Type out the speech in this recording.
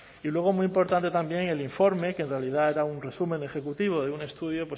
y luego muy importante también el informe que en realidad era un resumen ejecutivo de un estudio